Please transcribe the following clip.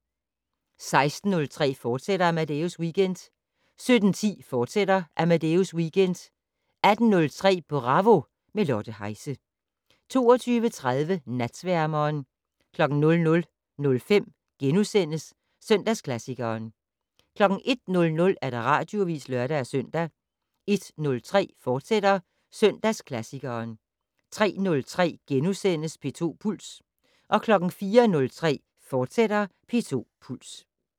16:03: Amadeus Weekend, fortsat 17:10: Amadeus Weekend, fortsat 18:03: Bravo - med Lotte Heise 22:30: Natsværmeren 00:05: Søndagsklassikeren * 01:00: Radioavis (lør-søn) 01:03: Søndagsklassikeren, fortsat 03:03: P2 Puls * 04:03: P2 Puls, fortsat